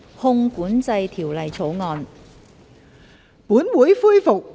《汞管制條例草案》。